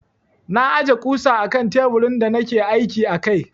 Na aje ƙusa akan teburin da nake aiki a kai.